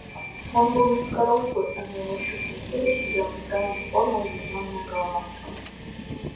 он был низкорослый а на его щуплом теле сидела неправильной формы удлинённая голова